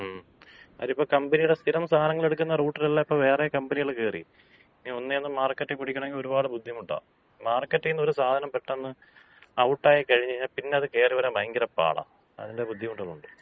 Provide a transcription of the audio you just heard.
മ്മ്. കാര്യം ഇപ്പോ കമ്പനിടെ സ്ഥിരം സാധനങ്ങളെടുക്കുന്ന റൂട്ടിലെല്ലാം ഇപ്പൊ വേറെ കമ്പനികള് കേറി. ഇനി ഒന്നേന്ന് മാർക്കറ്റ് പിടിക്കണങ്കി ഒര്പാട് ബുദ്ധിമുട്ടാ. മാർക്കറ്റീന്ന് ഒര് സാധനം പെട്ടന്ന് ഔട്ടായി കഴിഞ്ഞ് കഴിഞ്ഞാ പിന്നെ അത് കേറി വരാൻ ഭയങ്കര പാടാ. അതിന്‍റെ ബുദ്ധിമുട്ടുകള്ണ്ട്.